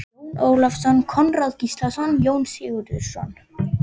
Magnússon, Jón Ólafsson, Konráð Gíslason, Jón Sigurðsson